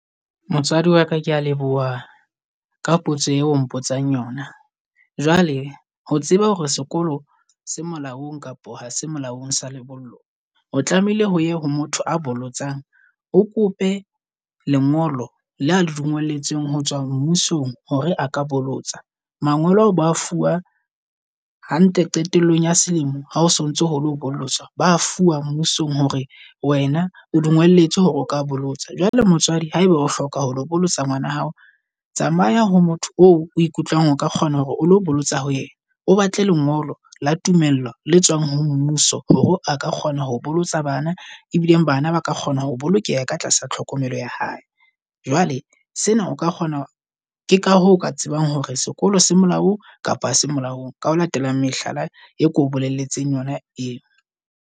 Motswadi waka kea leboha ka potso eo o mpotsang yona. Jwale ho tseba hore sekolo se molaong kapa ha se molaong sa lebollo o tlamehile ho ya ho motho a bolotsang. O kope lengolo la le di ngolletsweng ho tswa mmusong hore a ka bolotsa. Mangolo ao ba fuwa hantle qetellong ya selemo ha o sontso hole ho bolotsa ba fuwa mmusong hore wena o dungolletswe hore o ka bolotsa. Jwale motswadi haeba o hloka ho ho lo bolotsa ngwana wa hao. Tsamaya ho motho o ikutlwa ng o ka kgona hore o lo bolotsa ho yena. O batle lengolo la tumello le tswang ho mmuso hore a ka kgona ho bolotsa bana ebileng bana ba ka kgona ho bolokeha ka ka tlasa tlhokomelo ya hae. Jwale sena o ka kgona. Ke ka hoo ka tsebang hore sekolo se molaong kapa se molaong ka ho latelang mehlala e ko bolelletseng yona eo.